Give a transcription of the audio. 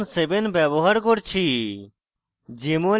এবং java সংস্করণ 7 ব্যবহার করছি